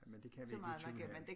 Men det kan vi ikke i tunellen